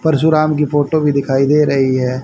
परशुराम की फोटो भी दिखाई दे रही है।